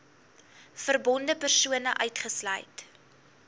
verbonde persone uitgesluit